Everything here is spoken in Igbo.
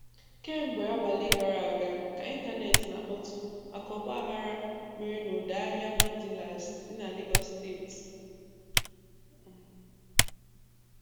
Kemgbe abalị gara aga ka ịntaneti na-akpọtụ maka ọgbaaghara mere n'ọdọ ahịa Mandilas dị na Legọs steeti.